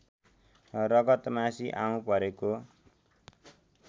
रगतमासी आउँ परेको